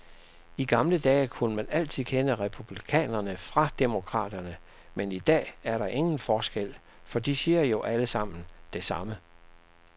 I gamle dage kunne man altid kende republikanerne fra demokraterne, men i dag er der ingen forskel, for de siger jo allesammen det samme.